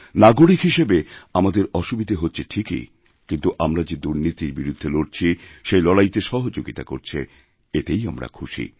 নাগরিক হিসেবে আমাদের অসুবিধে হচ্ছে ঠিকই কিন্তু আমরাযে দুর্নীতির বিরুদ্ধে লড়ছি সেই লড়াইতে সহযোগিতা করছে এতেই আমরা খুশি